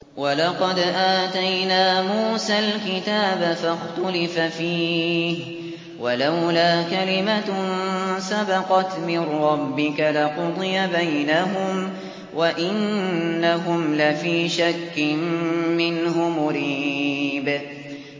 وَلَقَدْ آتَيْنَا مُوسَى الْكِتَابَ فَاخْتُلِفَ فِيهِ ۚ وَلَوْلَا كَلِمَةٌ سَبَقَتْ مِن رَّبِّكَ لَقُضِيَ بَيْنَهُمْ ۚ وَإِنَّهُمْ لَفِي شَكٍّ مِّنْهُ مُرِيبٍ